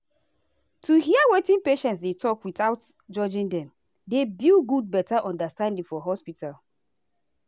to hear wetin patients dey talk without judging dem dey build good better understanding for hospital.